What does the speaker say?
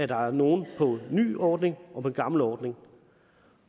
der er nogle på en ny ordning og nogle på en gammel ordning